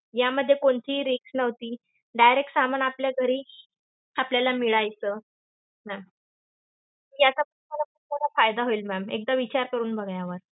यामध्ये कोणतीही risk नव्हती. direct सामान आपल्या घरी आपल्याला मिळायचं. याचा तुम्हाला ~ तुम्हाला फायदा होईल ma'am. एकदा विचार करून बघा यावर.